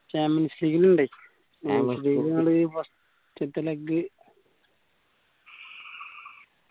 champions league ല് ഇണ്ട് first ത്തെ leg